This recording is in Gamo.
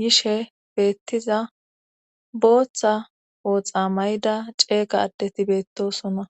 yishe beettiza booththa ooxa mayda ceeqadeti beettosonna.